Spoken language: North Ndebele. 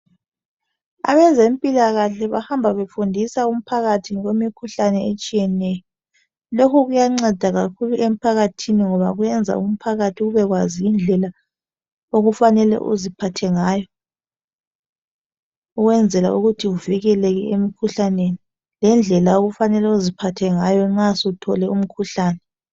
Abezempilakahle bahamba befundisa umphakathi ngokwemikhuhlane etshiyeneyo. Lokhu kuyanceda kakhulu emphakathini ngoba kuyenza umphakathi ubekwazi indlela okufanele uziphathe ngayo ukwenzela ukuthi uvikeleke emkhuhlaneni, lendlela okumele uziphathe ngayo nxa usuthole umkhuhlane.